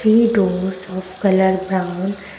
three doors of colour brown --